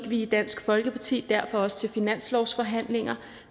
vi i dansk folkeparti derfor også til finanslovsforhandlinger